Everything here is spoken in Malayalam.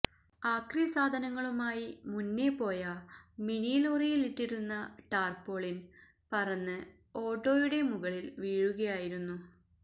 ആക്രി സാധനങ്ങളുമായി മുന്നേ പോയ മിനിലോറിയിലിട്ടിരുന്ന ടാർപോളിൻ പറന്ന് ഓട്ടോയുടെ മുകളില് വീഴുകയായിരുന്നു